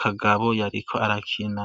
kagabo yariko arakina.